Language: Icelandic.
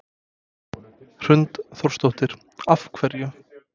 Hrund Þórsdóttir: Af hverju?